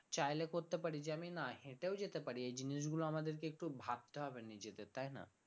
চাইলে করতে পারি যে আমি না হেটেও যেতে পারি এই জিনিসগুলো আমাদেরকে একটু ভাবতে হবে নিজেদের তাই না?